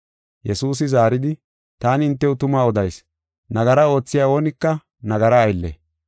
Yesuusi zaaridi, “Taani hintew tuma odayis; nagara oothiya oonika nagara aylle.